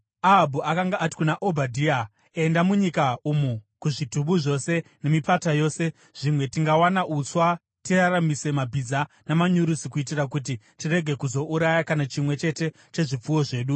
Ahabhu akanga ati kuna Obhadhia, “Enda munyika umu kuzvitubu zvose nemipata yose. Zvimwe tingawana uswa tiraramise mabhiza namanyurusi kuitira kuti tirege kuzouraya kana chimwe chete chezvipfuwo zvedu.”